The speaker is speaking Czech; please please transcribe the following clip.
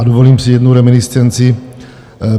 A dovolím si jednu reminiscenci.